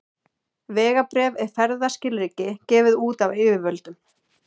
Vegabréf er ferðaskilríki gefið út af yfirvöldum.